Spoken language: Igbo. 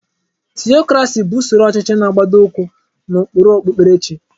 Tiyokrasị bụ usoro ọchịchị na-agbado ụkwụ n'ụkpụrụ okpupkerechi.